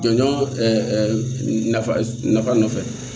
Jɔnjɔn nafa nafa nɔfɛ